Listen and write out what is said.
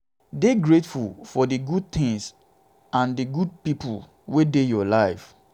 dey grateful for di good things and good pipo wey dey your life